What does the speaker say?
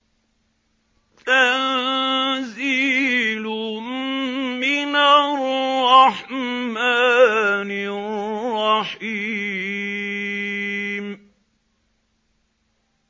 تَنزِيلٌ مِّنَ الرَّحْمَٰنِ الرَّحِيمِ